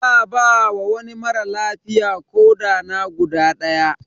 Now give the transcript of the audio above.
Za ba wa wani mara lafiya koɗa na guda daya.